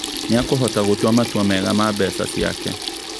Nĩ akũhota gũtũa matua mega ma mbeca ciake